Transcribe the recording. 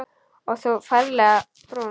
Og þú ferlega brún.